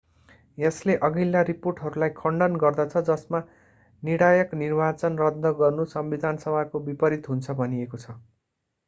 यसले अघिल्ला रिपोर्टहरूलाई खण्डन गर्दछ जसमा निर्णायक निर्वाचन रद्द गर्नु संविधानको विपरित हुन्छ भनिएको छ